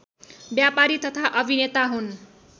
व्यापारी तथा अभिनेता हुन्